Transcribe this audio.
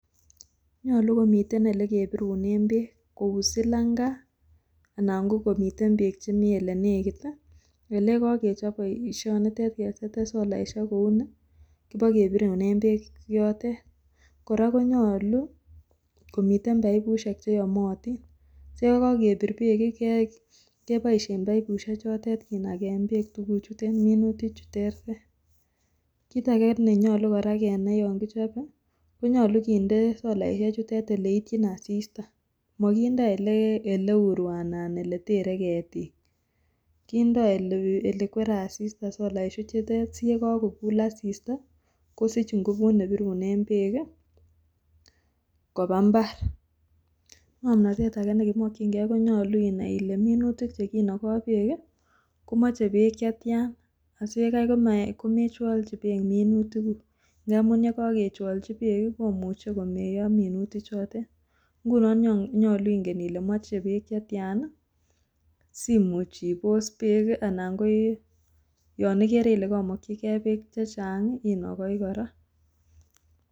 Nyolu komiten elekebirunen beek kou silanga ana kokomiten beek chemi olenekit ele kokechop boisionitet keseten solaiseik kouni kipokebirunen beek yotet, kora konyolu komiten poipusiek cheyomotin siyekokebir beek keboisien poipusiechotet kinakaa beek chukuchutet minuti chutet, kitake nenyolu kora kenai yonkichope konyolu kindee solaisiechuten eleityin asista mokindoo ole uruo anan eletere ketik kindoo olekwere asista solaisiechutet siyekokul asista kosich nguput nebirunen beek ii kopaa mbar, ng'omnotet ake nekimokyingee konyolu inai ile minutik chekinokoo beek komoche beek chetian asiyekai komechwolchi beek minutikuk ngamun yekochwolchi beek komuche komeyo minutichotet ngunon nyolu ingen ile moche beek chetian simuch ibos beek ana ko yon ikere ile komokyigee beek chechang inokoi kora.